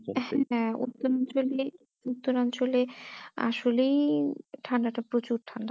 হ্যাঁ উত্তর অঞ্চলে উত্তর অঞ্চলে আসলেই ঠান্ডাটা প্রচুর ঠান্ডা